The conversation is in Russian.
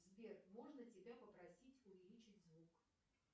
сбер можно тебя попросить увеличить звук